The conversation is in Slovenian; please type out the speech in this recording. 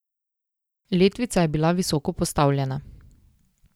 Letvica je bila visoko postavljena.